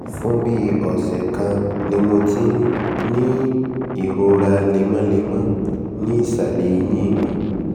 fún bí ọ̀sẹ̀ um kan ni mo ti ń um ní ìrora lemọ́lemọ́ ní ìsàlẹ̀ èyìn mi